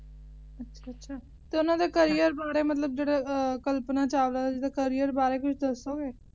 ਅੱਛਾ ਅੱਛਾ ਤੇ ਓਹਨਾ ਦੇ career ਬਾਰੇ ਮਤਲਬ ਕਲਪਨਾ ਚਾਵਲਾ ਦੇ Career ਬਾਰੇ ਕੁਝ ਦੱਸੋਗੇ